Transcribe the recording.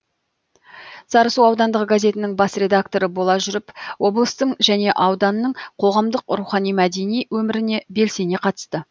сарысу аудандық газетінің бас редакторы бола жүріп облыстың және ауданның қоғамдық рухани мәдени өміріне белсене қатысты